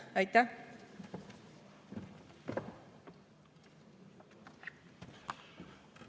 Aitäh!